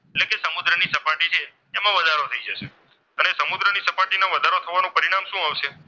વધારો થઈ જશે. અને સમુદ્રની સપાટીનું વધારો થવાનું પરિણામ શું આવશે?